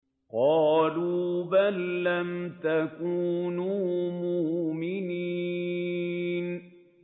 قَالُوا بَل لَّمْ تَكُونُوا مُؤْمِنِينَ